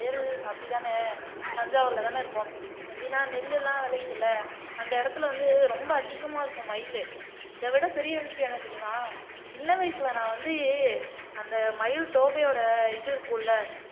வயல் அப்படித்தானே தஞ்சாவூர்ல தானே இருக்கோம் எப்படின்னா நெல்லெல்லாம் விளையுது இல்லை அந்த இடத்துல வந்து ரொம்ப அதிகமா இருக்கும் மயிலு இதை விட பெரிய விஷயம் என்ன தெரியுமா சின்ன வயசுல நான் வந்து அந்த மயில் தோகையோட இது இருக்கும்ல